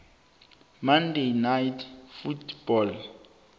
monday night football